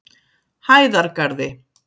Hæðargarði